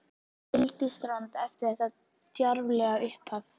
Hann sigldi í strand eftir þetta djarflega upphaf.